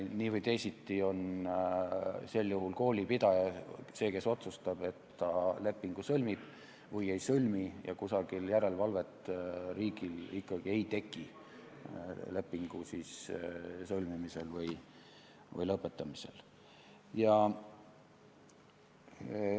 Nii või teisiti on sel juhul koolipidaja see, kes otsustab, kas ta lepingu sõlmib või ei sõlmi, ja riigil ikkagi ei teki järelevalvet lepingu sõlmimise või lõpetamise üle.